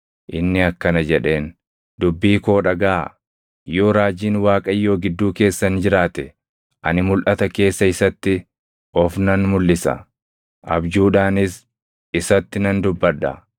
inni akkana jedheen; “Dubbii koo dhagaʼaa: “Yoo raajiin Waaqayyoo gidduu keessan jiraate, ani mulʼata keessa isatti of nan mulʼisa; abjuudhaanis isatti nan dubbadha.